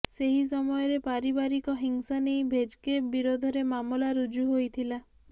ସେହି ସମୟରେ ପାରିବାରିକ ହିଂସା ନେଇ ଭେଜ୍କେଭ୍ ବିରୋଧରେ ମାମଲା ରୁଜୁ ହୋଇଥିଲା